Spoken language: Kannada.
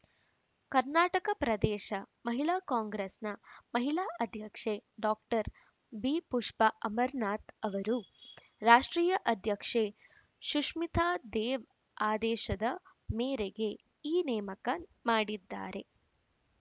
ಕರ್ನಾಟಕ ಪ್ರದೇಶ ಮಹಿಳಾ ಕಾಂಗ್ರೆಸ್‌ನ ಮಹಿಳಾ ಅಧ್ಯಕ್ಷೆ ಡಾ ಬಿಪುಷ್ಪ ಅಮರನಾಥ್‌ ಅವರು ರಾಷ್ಟ್ರೀಯ ಅಧ್ಯಕ್ಷೆ ಸುಶ್ಮಿತಾ ದೇವ್‌ ಆದೇಶದ ಮೇರೆಗೆ ಈ ನೇಮಕ ಮಾಡಿದ್ದಾರೆ